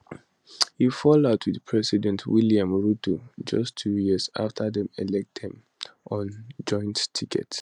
e fall out wit president william ruto just two years afta dem elect dem on joint ticket